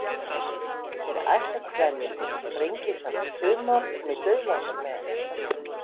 Þeir ætla til dæmis yfir Sprengisand í sumar og mig dauðlangar með.